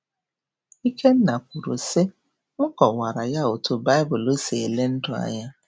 Ikenna kwuru, sị: “M kọwaara ya otú Baịbụl si ele ndụ anya.